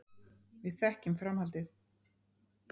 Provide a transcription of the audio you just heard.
Við þekkjum framhaldið.